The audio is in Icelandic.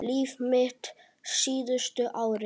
Líf mitt síðustu árin.